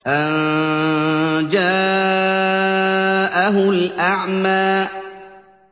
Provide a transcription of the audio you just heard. أَن جَاءَهُ الْأَعْمَىٰ